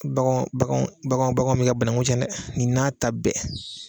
Baganw baganw baganw baganw me ka banakun cɛn dɛ nin n'a ta bɛɛ